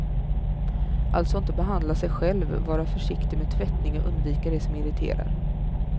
Alltså inte behandla sig själv, vara försiktig med tvättning och undvika det som irriterar.